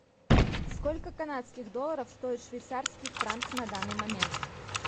сколько канадских долларов стоит швейцарский франк на данный момент